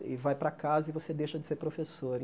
E vai para casa e você deixa de ser professor.